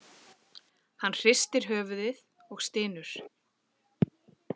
Hann hristir höfuðið og stynur.